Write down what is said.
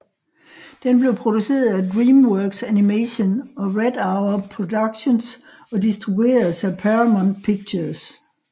Den blev produceret af DreamWorks Animation og Red Hour Productions og distribueres af Paramount Pictures